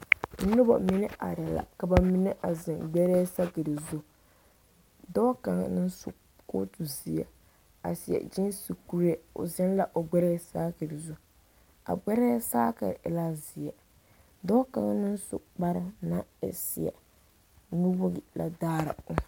Noba mine arɛɛ la ka ba mine a zeŋ gbɛrɛɛ sakere zu dɔɔ kaŋa naŋ zu kɔɔtu zeɛ a seɛ kyeese kuree o zeŋ la o gbɛrɛɛ saakere zu a gbɛrɛɛ saakere e la zeɛ dɔɔ kaŋ naŋ su kpar naŋ e zeɛ nuwogiri la daara o